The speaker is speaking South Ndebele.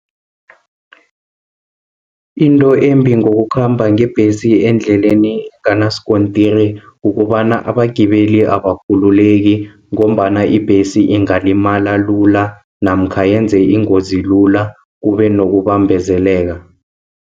Into embi ngokukhamba ngebhesi endleleni enganaskontiri, kukobana abagibeli abakhulileki ngombana ibhesi ingalimala lula, namkha yenze ingozi lula, kubenokubambezeleka.